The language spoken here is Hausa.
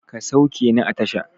Ka sauke ni a tasha!